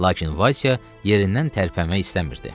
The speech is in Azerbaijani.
Lakin Vaysa yerindən tərpənmək istəmirdi.